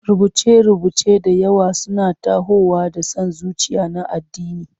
Rubuce-rubuce da yawa suna tahowa da son zuciya na addini.